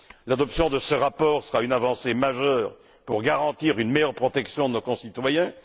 L'adoption de ce rapport sera une avancée majeure pour garantir une meilleure protection de nos concitoyens.